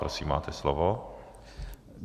Prosím, máte slovo.